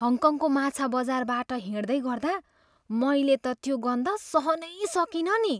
हङकङको माछा बजारबाट हिँड्दै गर्दा मैले त त्यो गन्ध सहनै सकिनँ नि।